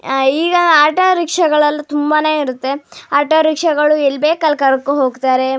ಆಹ್ಹ್ ಈಗ ಆಟೋ ರಿಕ್ಷಾಗಳೆಲ್ಲಾ ತುಂಬಾನೇ ಇರುತ್ತೆ ಆಟೋ ರಿಕ್ಷಾಗಳು ಎಲ್ ಬೇಕ್ ಅಲ್ ಕರ್ಕೊಂಡ್ ಹೋಗ್ತಾರೆ.